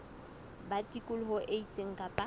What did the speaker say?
ba tikoloho e itseng kapa